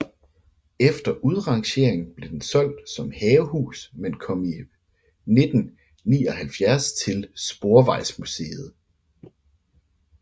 Efter udrangeringen blev den solgt som havehus men kom i 1979 til Sporvejsmuseet